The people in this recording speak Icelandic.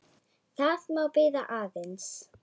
Það má bíða aðeins.